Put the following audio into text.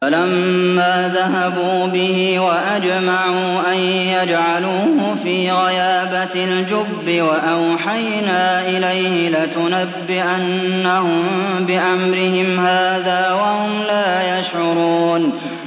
فَلَمَّا ذَهَبُوا بِهِ وَأَجْمَعُوا أَن يَجْعَلُوهُ فِي غَيَابَتِ الْجُبِّ ۚ وَأَوْحَيْنَا إِلَيْهِ لَتُنَبِّئَنَّهُم بِأَمْرِهِمْ هَٰذَا وَهُمْ لَا يَشْعُرُونَ